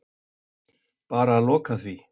Bara að loka því.